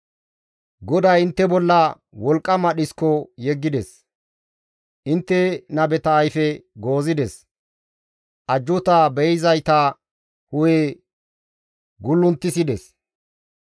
GODAY intte bolla wolqqama dhisko yeggides; intte nabeta ayfe goozides; ajjuuta be7izayta hu7e gullunttissides.